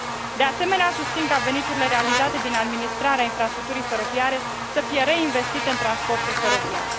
De asemenea, susțin ca veniturile realizate din administrarea infrastructurii feroviare să fie reinvestite în transportul feroviar.